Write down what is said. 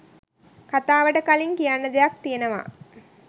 කතාවට කලින් කියන්න දෙයක් තියෙනවා.